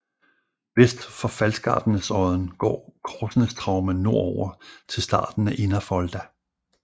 Vest for Falskardnesodden går Korsnesstraumen nordover til starten af Innerfolda